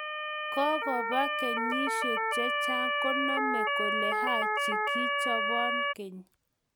Kukuba kenyishe che chang koname koleHaji kichobon akeny.